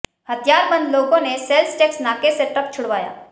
हथियारबंद लोगों ने सेल्स टैक्स नाके से ट्रक छुड़वाया